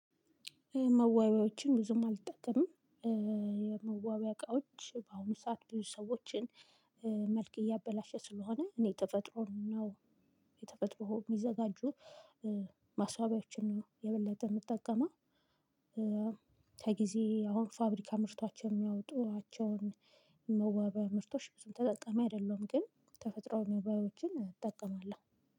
መዋቢያዎችን ብዙም አልጠቀምም። የመዋቢያ እቃዎች በአሁኑ ሰዓት ብዙ ሰዎችን። መልክ እያበላሸ ስለሆነ እኔ ተፈጥሮን ነው የተፈጥሮ የሚዘጋጁ ማስዋቢዎችን ነው የበለጠ ምጠቀመው። ከጊዜ አሁን ፋብሪካ አምርቷቸው የሚያወጡዋቸውን የመዋበ ምርቶች ብዙም ተጠቃሚ አይደለሁም። ግን ተፈጥሮአዊ መዋቢያዎችን እጠቀማለሁ።